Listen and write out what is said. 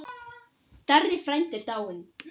Darri frændi er dáinn.